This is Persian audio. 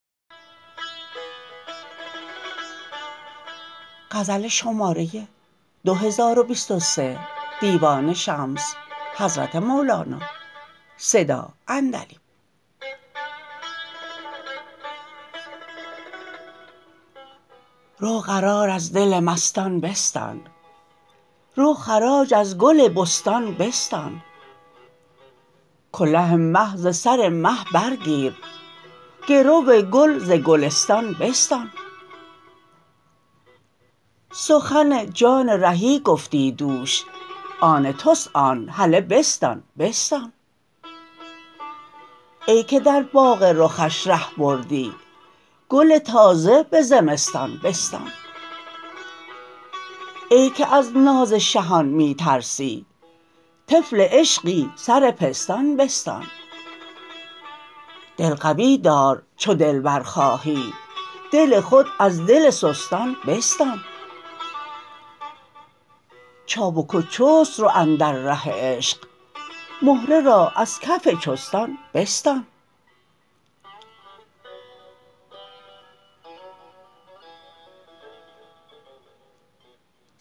رو قرار از دل مستان بستان رو خراج از گل بستان بستان کله مه ز سر مه برگیر گرو گل ز گلستان بستان سخن جان رهی گفتی دوش آن توست آن هله بستان بستان ای که در باغ رخش ره بردی گل تازه به زمستان بستان ای که از ناز شهان می ترسی طفل عشقی سر پستان بستان دل قوی دار چو دلبر خواهی دل خود از دل سستان بستان چابک و چست رو اندر ره عشق مهره را از کف چستان بستان